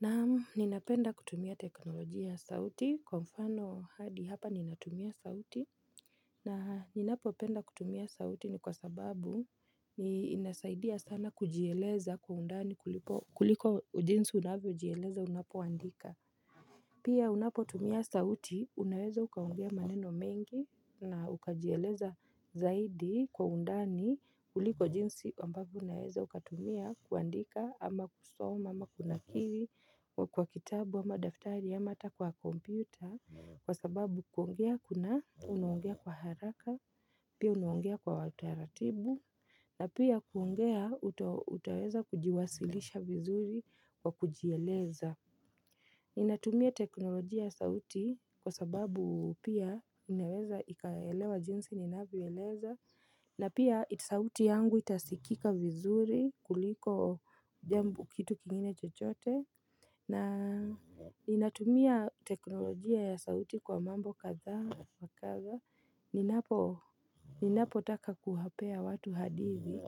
Na'am, ninapenda kutumia teknolojia ya sauti kwa mfano hadi hapa ninatumia sauti na ninapopenda kutumia sauti ni kwa sababu ni inasaidia sana kujieleza kwa undani kuliko jinsi unavyojieleza unapoandika Pia unapotumia sauti, unaweza ukaongea maneno mengi na ukajieleza zaidi kwa undani kuliko jinsi ambavyo unaweza ukatumia kuandika ama kusoma ama kunakili kwa kitabu ama daftari ama hata kwa kompyuta kwa sababu kuongea kuna unaongea kwa haraka, pia unaongea kwa utaratibu na pia kuongea utaweza kujiwasilisha vizuri kwa kujieleza. Ninatumia teknolojia ya sauti kwa sababu pia inaweza ikaelewa jinsi ninavyoeleza. Na pia sauti yangu itasikika vizuri kuliko jambo, kitu kingine chochote. Na ninatumia teknolojia ya sauti kwa mambo kadhaa wa kadha ninapo Ninapotaka kuwapea watu hadithi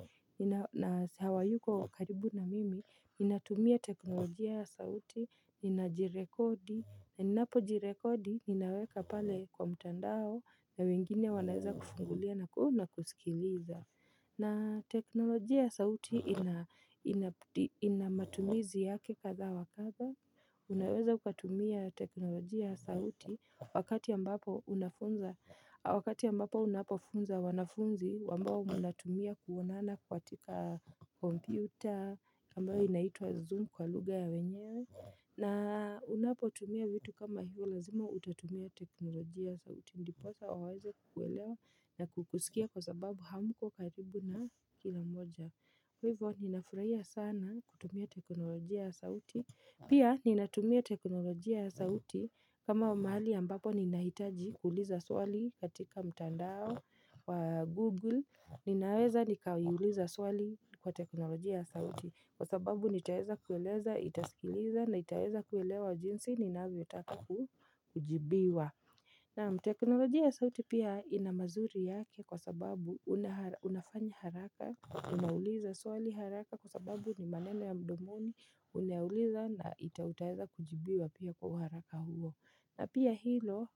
na hawayuko wa karibu na mimi. Ninatumia teknolojia ya sauti. Nina jirekodi ninapo jirekodi, ninaweka pale kwa mtandao na wengine wanaweza kufungulia na ku na kusikiliza na teknolojia sauti ina ina matumizi yake kadha wa kadha Unaweza ukatumia teknolojia sauti Wakati ambapo unafunza Wakati ambapo unapofunza wanafunzi ambao mnatumia kuonana katika kompyuta ambayo inaitwa zoom kwa lugha ya wenyewe na unapotumia vitu kama hivyo lazima utatumia teknolojia ya sauti ndiposa waweze kukuelewa na kukusikia kwa sababu hamko karibu na kila mmoja Kwa hivyo ninafurahia sana kutumia teknolojia ya sauti. Pia ninatumia teknolojia ya sauti kama mahali ambapo ninahitaji kuuliza swali katika mtandao wa google Ninaweza nikaiuliza swali kwa teknolojia ya sauti. Kwa sababu nitaweza kueleza, itaskiliza na itaweza kuelewa jinsi ninavyotaka kujibiwa Naam teknolojia ya sauti pia ina mazuri yake kwa sababu unafanya haraka Unauliza swali haraka kwa sababu ni maneno ya mdomoni. Unayauliza na utaweza kujibiwa pia kwa uharaka huo na pia hilo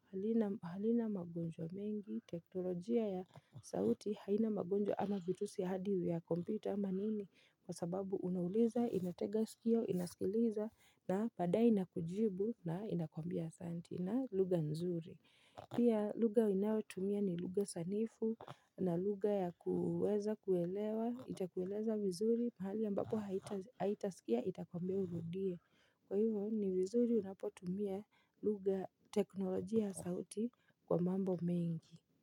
halina magonjwa mengi. Teknolojia ya sauti haina magonjwa ama virusi ya hadi vya kompyuta ama nini Kwa sababu unauliza, inatega sikio, inaskiliza na badayr inakujibu na inakwambia asanti na lugha nzuri Pia lugha inayotumia ni lugha sanifu na lugha ya kuweza kuelewa. Itakueleza vizuri, mahali ambapo haitasikia itakwambia urudie. Kwa hivyo ni vizuri unapotumia lugha teknolojia sauti kwa mambo mengi.